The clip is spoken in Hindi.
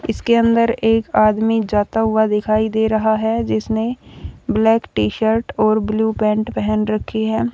इसके अंदर एक आदमी जाता हुआ दिखाई दे रहा है जिसमें ब्लैक टी शर्ट और ब्लू पैंट पहन रखी है।